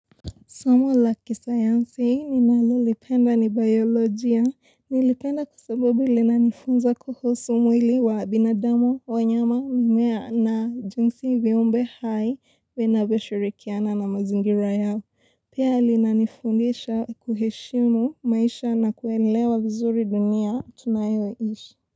Somo la kisayansi mimi hulipenda ni biolojia. Nilipenda kwa sababu lilinanifunza kuhusu mwili wa binadamu wanyama mmea na jinsi viumbe vinavyoshirikiana na mazingira yao. Pia linanifundisha kuheshimu maisha na kuelewa vizuri dunia tunayoishi.